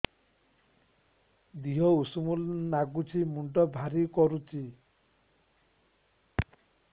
ଦିହ ଉଷୁମ ନାଗୁଚି ମୁଣ୍ଡ ଭାରି କରୁଚି